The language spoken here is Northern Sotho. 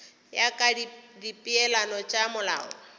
ya ka dipeelano tša molao